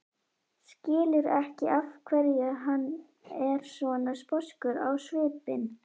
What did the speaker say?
Skilur ekki af hverju hann er svona sposkur á svipinn.